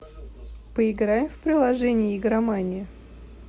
поиграем в приложение игромания